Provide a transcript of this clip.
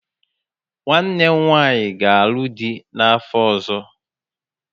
Nwanne m nwanyị ga alụ dị n'afọ ọzọ